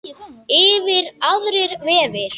Yfir aðrir vefir.